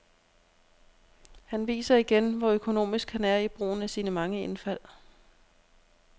Han viser igen, hvor økonomisk han er i brugen af sine mange indfald.